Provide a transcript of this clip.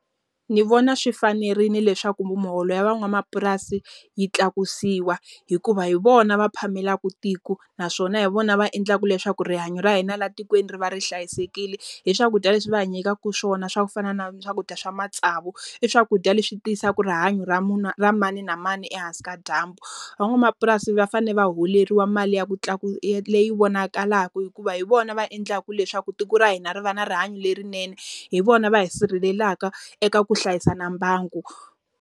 Ndzi vona swi fanerile leswaku muholo ya van'wamapurasi yi tlakusiwa. Hikuva hi vona va phamelaka tiko, naswona hi vona va endlaka leswaku rihanyo ra hina laha tikweni ri va ri hlayisekile hi swakudya leswi va hanyisaka swona swa ku fana na swakudya swa matsavu. I swakudya leswi tiyisaka rihanyo ra ra mani na mani ehansi ka dyambu. Van'wamapurasi va fanele va holeriwa mali ya ku leyi vonakalaka hikuva hi vona va endlaka leswaku tiko ra hina ri va na rihanyo lerinene, hi vona va hi sirhelelaka eka ku hlayisa na mbangu.